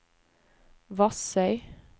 Vassøy